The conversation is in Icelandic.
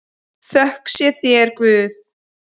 Þökk sé þér Guð.